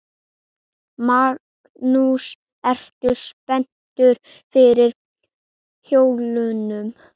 Magnús: Ertu spenntur fyrir jólunum?